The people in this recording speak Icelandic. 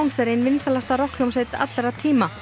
er ein vinsælasta rokkhljómsveit allra tíma